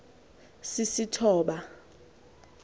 sisistoba